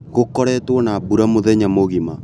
Gũkoretwo na mbura mũthenya mũgima